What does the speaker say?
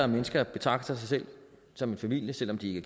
mennesker betragter sig selv som en familie selv om de ikke